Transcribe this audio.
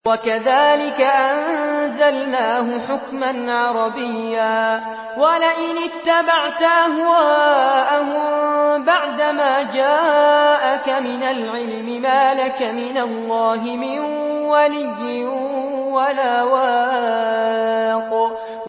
وَكَذَٰلِكَ أَنزَلْنَاهُ حُكْمًا عَرَبِيًّا ۚ وَلَئِنِ اتَّبَعْتَ أَهْوَاءَهُم بَعْدَمَا جَاءَكَ مِنَ الْعِلْمِ مَا لَكَ مِنَ اللَّهِ مِن وَلِيٍّ وَلَا وَاقٍ